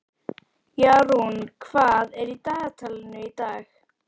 Jarún, hvað er í dagatalinu í dag?